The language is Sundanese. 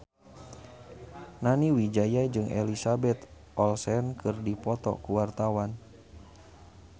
Nani Wijaya jeung Elizabeth Olsen keur dipoto ku wartawan